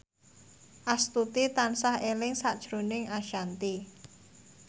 Astuti tansah eling sakjroning Ashanti